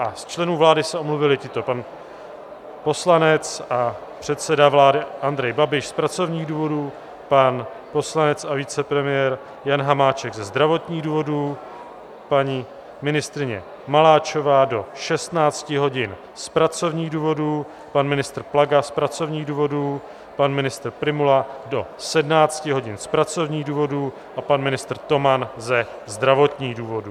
A z členů vlády se omluvili tito: pan poslanec a předseda vlády Andrej Babiš z pracovních důvodů, pan poslanec a vicepremiér Jan Hamáček ze zdravotních důvodů, paní ministryně Maláčová do 16 hodin z pracovních důvodů, pan ministr Plaga z pracovních důvodů, pan ministr Prymula do 17 hodin z pracovních důvodů a pan ministr Toman ze zdravotních důvodů.